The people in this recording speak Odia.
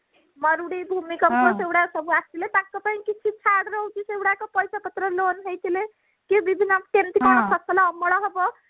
ମରୁଡି ଭୂମିକମ୍ପ ସେଇଗୁଡା ସବୁ ଆସିଲେ ତାଙ୍କ ପାଇଁ କିଛି ଛାଡ ରହୁଛି ସେଇ ଗୁଡାକ ପଇସା ପତ୍ର loan ହେଇଥିଲେ କି ବିଭିନ୍ନ କେମିତି କଣ ଫସଲ ଅମଳ ହବ